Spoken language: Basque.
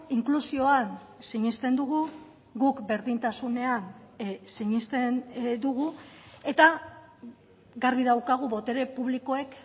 inklusioan sinesten dugu guk berdintasunean sinesten dugu eta garbi daukagu botere publikoek